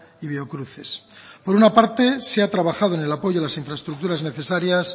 y biocruces por una parte se ha trabajado en el apoyo a las infraestructuras necesarias